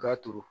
K'a turu